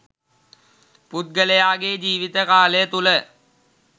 පුද්ගලයාගේ ජීවිත කාලය තුළ